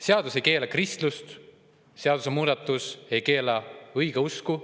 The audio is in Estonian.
Seadus ei keela kristlust, seadusemuudatus ei keela õigeusku.